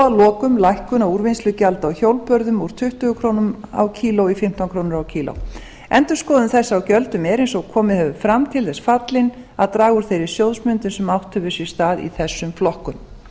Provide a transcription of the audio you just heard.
að lokum lækkun á úrvinnslugjaldi á hjólbörðum úr tuttugu krónur kílógrömm endurskoðun þessi á gjöldum er eins og komið hefur fram til þess fallin að draga úr þeirri sjóðsmyndum sem átt hefur sér stað í þessum flokkum